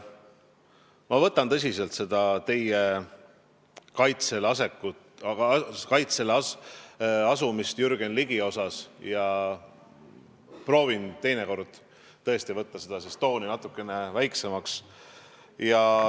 Ma võtan tõsiselt seda, et te Jürgen Ligi kaitsele asusite, ja proovin teinekord tõesti võtta seda tooni natukene vähemaks.